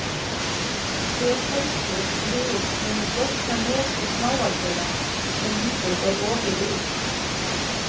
Hver heldur við hinu flókna neti smáatriða sem lífið er ofið úr?